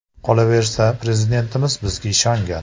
Qolaversa, Prezidentimiz bizga ishongan.